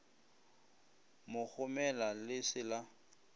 mo gomela le se la